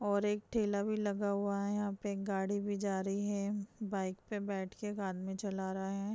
और एक ठेला भी लगा हुआ है | यहाँ पे गाड़ी भी जा रही है बाइक पे बैठकर आदमी चला रहा है ।